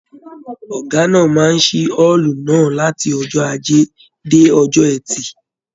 Ọgá náà máa n sí ọọlú náà láti ọjọ ajé dé ọjọ ẹtì.